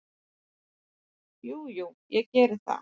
Jú, jú, ég geri það.